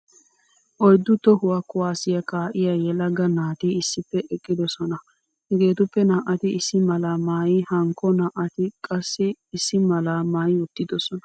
Oyddu tohuwaa kuwaasiyaa kaa'iyaa yelaga naati issippe eqqidosona. Hegeetuppe naa'ati issi malaa maayi hankko naa'atikka qassi issi mala maayiwttidisona .